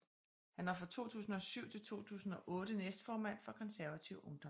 Han var fra 2007 til 2008 næstformand for Konservativ Ungdom